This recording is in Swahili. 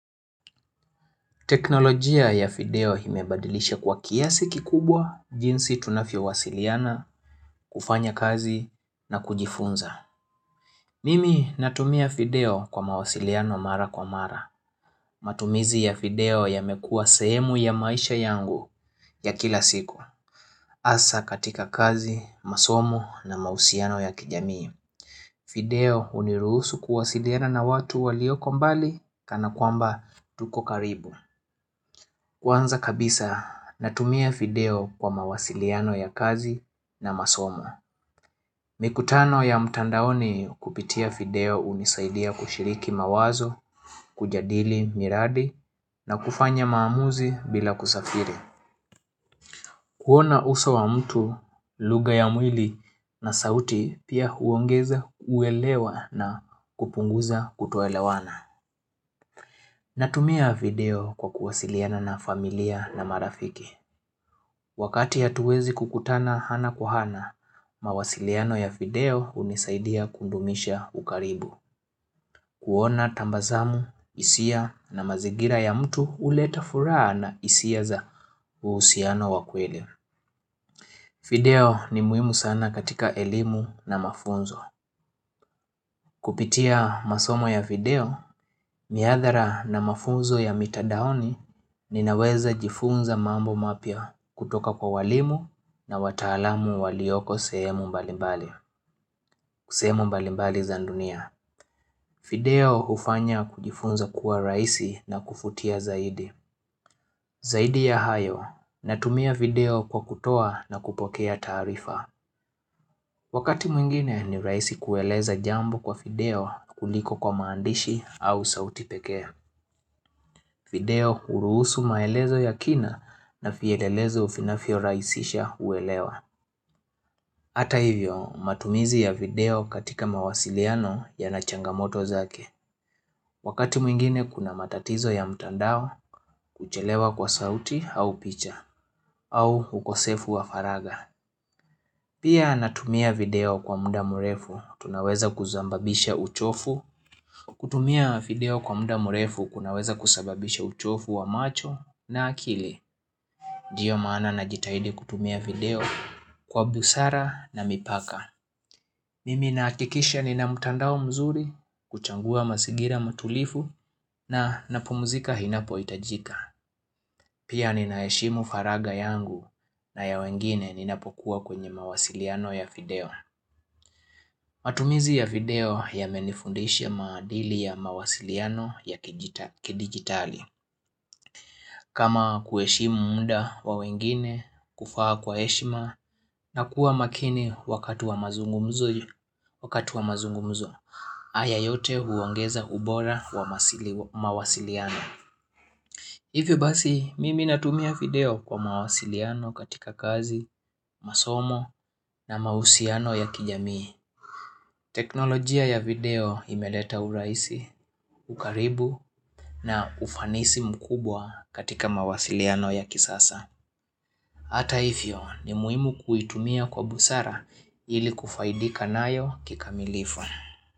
Teknolojia ya fideo imebadilisha kwa kiasi kikubwa jinsi tunafio wasiliana, kufanya kazi na kujifunza. Mimi natumia fideo kwa mawasiliano mara kwa mara. Matumizi ya fideo yamekua sehemu ya maisha yangu ya kila siku. Asa katika kazi, masomo na mahusiano ya kijamii. Fideo huniruhusu kuwasiliana na watu walioko mbali kana kwamba tuko karibu. Kwanza kabisa natumia fideo kwa mawasiliano ya kazi na masomo mikutano ya mtandaoni kupitia video hunisaidia kushiriki mawazo, kujadili miradi na kufanya maamuzi bila kusafiri kuona uso wa mtu, lugha ya mwili na sauti pia huongeza uelewa na kupunguza kutoelewana Natumia video kwa kuwasiliana na familia na marafiki Wakati hatuwezi kukutana hana kwa hana, mawasiliano ya video hunisaidia kudumisha ukaribu. Kuona tambazamu, hisia na mazingira ya mtu huleta furaha na isia za uhusiano wakweli. Video ni muhimu sana katika elimu na mafunzo. Kupitia masomo ya video, miadhara na mafunzo ya mitadaoni, ninaweza jifunza mambo mapya kutoka kwa walimu na wataalamu walioko sehemu mbalimbali sehemu mbalimbali za ndunia. Video hufanya kujifunza kuwa raisi na kufutia zaidi. Zaidi ya hayo, natumia video kwa kutoa na kupokea taarifa. Wakati mwingine ni raisi kueleza jambo kwa video kuliko kwa maandishi au sauti pekee. Video huruusu maelezo ya kina na fielelezo finafyo raisisha uelewa. Hata hivyo, matumizi ya video katika mawasiliano yana changamoto zake. Wakati mwingine kuna matatizo ya mtandao kuchelewa kwa sauti au picha, au ukosefu wa faraga. Pia natumia video kwa muda murefu tunaweza kuzambabisha uchofu, kutumia video kwa muda murefu kunaweza kusababisha uchofu wa macho na akili. Ndio maana na jitahidi kutumia video kwa busara na mipaka. Mimi na akikisha nina mutandao mzuri, kuchangua masigira matulifu na napumuzika hinapo itajika. Pia ninaeshimu faraga yangu na ya wengine ninapokuwa kwenye mawasiliano ya video. Matumizi ya video yamenifundishi ya maadili ya mawasiliano ya kiji kidigitali kama kueshimu muda wa wengine, kufaa kwa heshima na kuwa makini wakati wa mazungumzo wakati wa mazungumzo. Aya yote huongeza ubora wa masili mawasiliano Ivi basi mimi natumia video kwa mawasiliano katika kazi, masomo na mausiano ya kijamii teknolojia ya video imeleta uraisi, ukaribu na ufanisi mkubwa katika mawasiliano ya kisasa. Hata ifyo ni muimu kuitumia kwa busara ili kufaidika nayo kikamilifu.